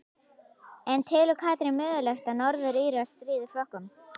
En telur Katrín mögulegt að Norður Írar stríði Frökkum?